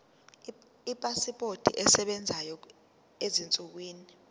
ipasipoti esebenzayo ezinsukwini